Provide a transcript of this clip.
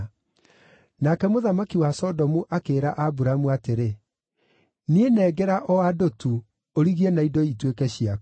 Nake mũthamaki wa Sodomu akĩĩra Aburamu atĩrĩ, “Niĩ nengera o andũ tu, ũrigie na indo ituĩke ciaku.”